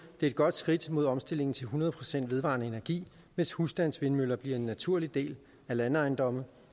et godt skridt mod omstillingen til hundrede procent vedvarende energi hvis husstandsvindmøller bliver en naturlig del af landejendomme